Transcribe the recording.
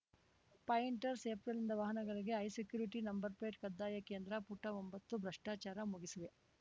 pointer ಏಪ್ರಿಲಿಂದ ವಾಹನಗಳಿಗೆ high security number plate ಕಡ್ಡಾಯ ಕೇಂದ್ರ ಪುಟ ಒಂಬತ್ತು ಭ್ರಷ್ಟಾಚಾರ ಮುಗಿಸುವೆ